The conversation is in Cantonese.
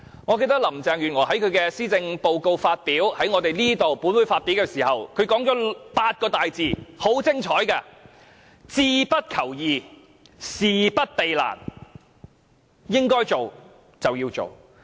我記得林鄭月娥在本會發表施政報告時，便說了8個很精彩的大字，就是"志不求易，事不避難"，應該做的事情便要做。